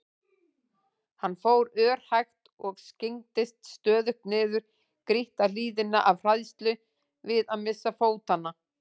Hann fór örhægt og skyggndist stöðugt niður grýtta hlíðina af hræðslu við að missa fótanna.